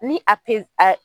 Ni a pez a